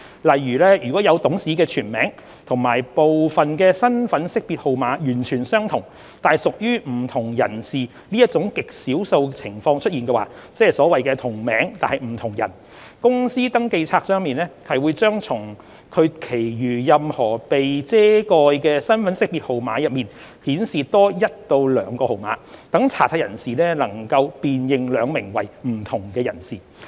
例如，如果有董事的全名及部分身份識別號碼完全相同，但屬於不同人士這種極少數情況出現，即所謂"同名但不同人"，公司登記冊將從其餘任何被遮蓋的身份識別號碼中顯示多一至兩個號碼，讓查冊人士能辨認兩名為不同人士。